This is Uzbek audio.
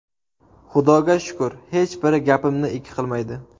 Xudoga shukr, hech biri gapimni ikki qilmaydi.